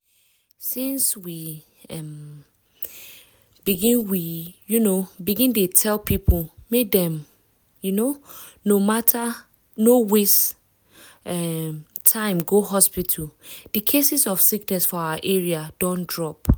since we um begin we um begin dey tell people make dem um no waste um time go hospital di cases of sickness for our area don drop.